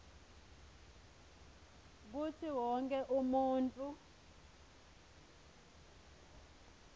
kutsi wonkhe umuntfu